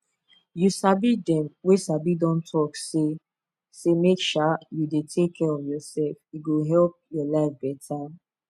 you sabi dem wey sabi don talk say say make um you dey take care of yourself e go help your life better